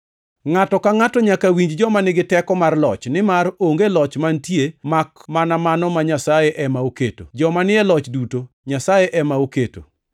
Ngʼato ka ngʼato nyaka winj joma nigi teko mar loch, nimar onge loch mantie, makmana mano ma Nyasaye ema oketo. Joma ni e loch duto Nyasaye ema oketo.